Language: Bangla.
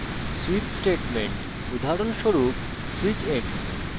switch statement